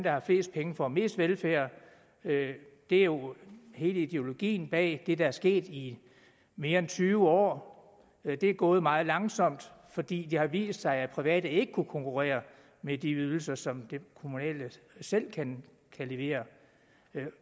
har flest penge får mest velfærd det er jo hele ideologien bag det der er sket i mere end tyve år det er gået meget langsomt fordi det har vist sig at private ikke kunne konkurrere med de ydelser som de kommunale selv kan levere